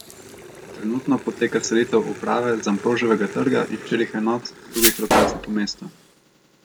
Trenutno poteka selitev uprave z Ambroževega trga in štirih enot z drugih lokacij po mestu.